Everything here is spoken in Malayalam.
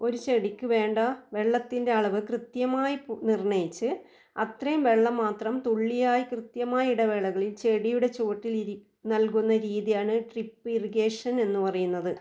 ഒരു ചെടിക്ക് വേണ്ട വെള്ളത്തിൻ്റെ അളവ് കൃത്യമായി നിർണയിച്ച് അത്രയും വെള്ളം മാത്രം തുള്ളിയായി കൃത്യമായ ഇടവേളകളിൽ ചെടിയുടെ ചുവട്ടിൽ ഇരി നൽകുന്ന രീതിയാണ് ട്രിപ്പ് ഇറിഗേഷൻ എന്ന് പറയുന്നത്.